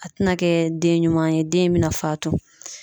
A tɛna kɛ den ɲuman ye den in bɛna faatu.